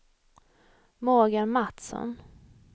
Morgan Matsson